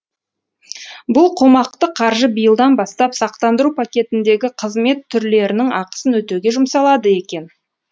бұл қомақты қаржы биылдан бастап сақтандыру пакетіндегі қызмет түрлерінің ақысын өтеуге жұмсалады екен